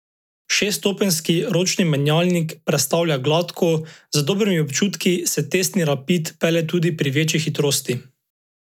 Šeststopenjski ročni menjalnik prestavlja gladko, z dobrimi občutki se testni rapid pelje tudi pri večji hitrosti.